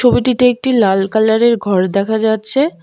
ছবিটিতে একটি লাল কালারের ঘর দেখা যাচ্ছে।